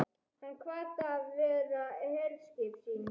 Hann kvað það vera herskip sín.